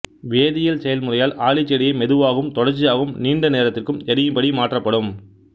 வேதியியல் செயல்முறையால் ஆளிச்செடியை மெதுவாகவும் தொடர்ச்சியாகவும் நீண்ட நேரத்திற்கு எரியும்படி மாற்றப்படும்